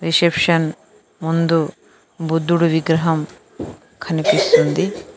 Reception ముందు బుద్ధుడు విగ్రహం కనిపిస్తుంది.